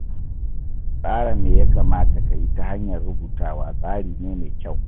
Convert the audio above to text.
Tsara me ya kamata ka yi ta hanyar rubutawa tsari ne mai kyau.